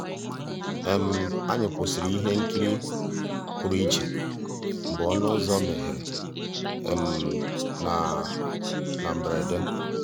ànyị́ kwụ́sị́rí íhé nkírí pụ́rụ́ íchè mgbeé ọnụ́ ụ́zọ̀ meéghéré ná ná mbérèdé.